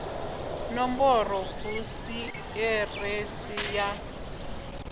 nomboro hu si ḓiresi ya